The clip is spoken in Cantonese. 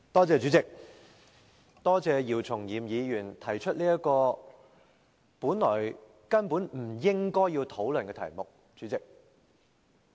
主席，多謝姚松炎議員提出這項本來根本不應討論的議案。